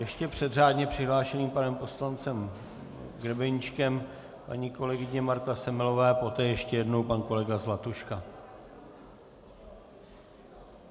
Ještě před řádně přihlášeným panem poslancem Grebeníčkem paní kolegyně Marta Semelová, poté ještě jednou pan kolega Zlatuška.